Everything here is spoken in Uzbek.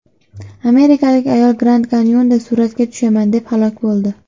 Amerikalik ayol Grand-Kanyonda suratga tushaman deb halok bo‘ldi.